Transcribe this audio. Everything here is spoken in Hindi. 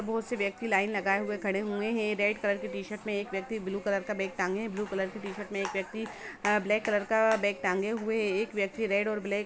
बहुत से व्यक्ति लाईन लगाए हुए हैं खड़े हुए हैं रेड कलर की टीशर्ट एक व्यक्ति ब्लू कलर का बेग टाँगे है ब्लू कलर की टीशर्ट में एक व्यक्ति ब्लेक कलर का बेग टाँगे हुए हैं एक व्यक्ति रेड और ब्लेक --